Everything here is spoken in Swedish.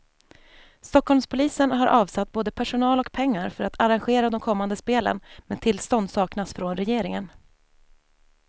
Stockholmspolisen har avsatt både personal och pengar för att arrangera de kommande spelen, men tillstånd saknas från regeringen.